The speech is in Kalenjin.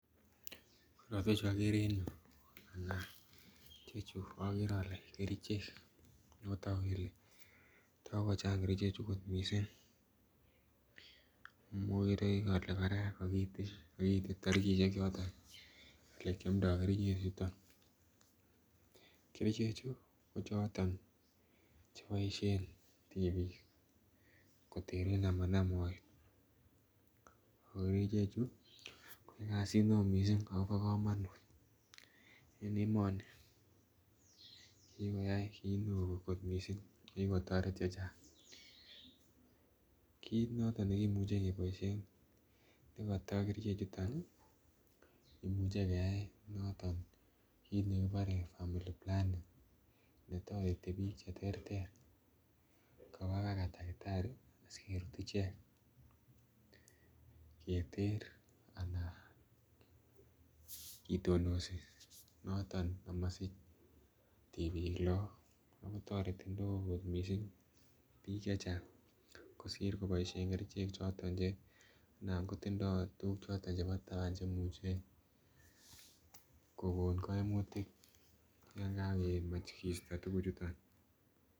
Korotwek chuu okere en yuu anan chechu okere ole kerichek otoku kele takochang kerichek chuu kot missing. Okere ole Koraa kokiite torikishek choton olekiomdo kerichek chuton, kerichek chuu ko choton cheboissjen tipik koteren amanam moet, ako kerichek chuu koyoe kasit neo missing akobo komonut en emoni kikoyai kit neo kot missing nekiikotoret chechang. Kit noton nekimuche keboishen nekoto kerichek chuton Nii imuche kayai noton kit nekibore family planning netoreti bik cheterter koba baka takitari asikerut ichek keter anan kitonosi noton omosich tipik lok ako toreti oleo kot missing bik chechang kosir koboishen kerichek choton che anan kotindo tukuk choton chebo taban cheimuche kokon koimutik yakakeimach kisto tukuk chuton.